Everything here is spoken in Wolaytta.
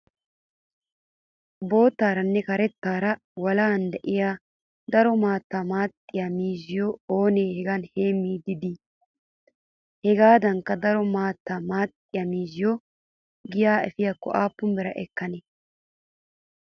Boottaara karettaara walahan diyaa daro maattaa maaxxiyaa miizziyoo ooni hagan heemmiddi dii? Hagaadan daro maattaa maaxxiyaa miizziyoo giyaa epiyaakko aappun bira ekkanee?